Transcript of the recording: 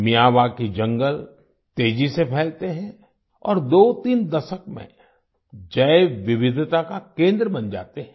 Miyawaki जंगल तेजी से फैलते हैं और दोतीन दशक में जैव विविधता का केंद्र बन जाते हैं